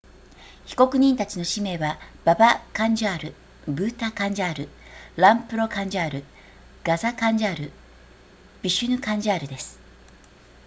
被告人たちの氏名はババカンジャールブータカンジャールランプロカンジャールガザカンジャールヴィシュヌカンジャールです